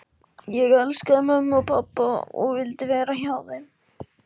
Ég elskaði mömmu og pabba og vildi vera hjá þeim.